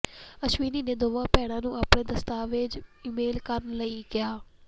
ਅਸ਼ਵਨੀ ਨੇ ਦੋਵਾਂ ਭੈਣਾਂ ਨੂੰ ਆਪਣੇ ਦਸਤਾਵੇਜ਼ ਈਮੇਲ ਕਰਨ ਲਈ ਕਿਹਾ